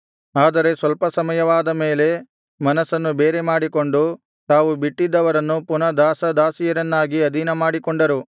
ಆದರೆ ಸ್ವಲ್ಪ ಸಮಯವಾದ ಮೇಲೆ ಮನಸ್ಸನ್ನು ಬೇರೆ ಮಾಡಿಕೊಂಡು ತಾವು ಬಿಟ್ಟಿದ್ದವರನ್ನು ಪುನಃ ದಾಸ ದಾಸಿಯರನ್ನಾಗಿ ಅಧೀನಮಾಡಿಕೊಂಡರು